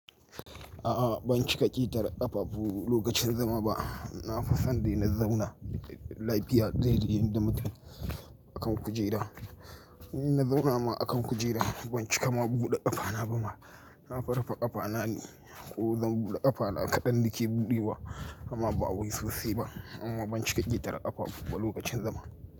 A'a ban cika ƙetarai ƙafafu lokacin zama ba. Na fi son dai na zauna lafiya dai dai yadda mutum akan kujera. In nazauna ma akan kujera ban cika ma buɗe ƙafana bama nafi rufe ƙafana ne, ko zan buɗe ƙafana kaɗan nake buɗe amma ba wai sosai ba amma ban cika ƙitar ƙafafu ba lokacin zama.